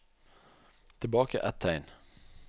Tilbake ett tegn